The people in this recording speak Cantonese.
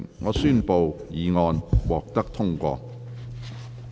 我宣布議案獲得通過。